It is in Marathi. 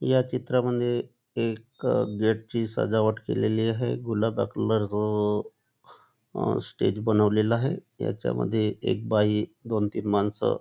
या चित्रामद्धे एका गेट ची सजावट केलेली आहे गुलाब कलर स्टेज बनवलेला आहे याच्यामध्ये एक बाई दोन तीन मानस--